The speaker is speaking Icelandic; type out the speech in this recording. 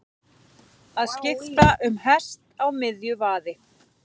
Að skipta um hest á miðju vaði